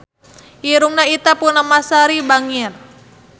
Irungna Ita Purnamasari bangir